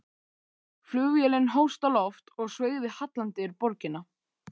Flugvélin hófst á loft og sveigði hallandi yfir borgina.